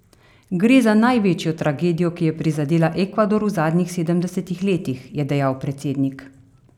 Gre za največjo tragedijo, ki je prizadela Ekvador v zadnjih sedemdesetih letih, je dejal predsednik.